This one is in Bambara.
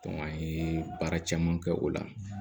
an ye baara caman kɛ o la